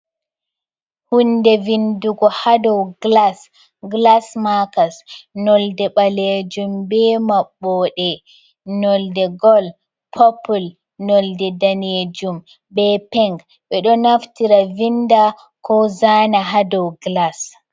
Hunde vindugo ha dou gilas, gilas makers, nolde ɓaleejum be maɓɓoɗe nolde gol, popul, nolde daneejum be pink, ɓe ɗo naftira vinda ko zana ha dou gilas.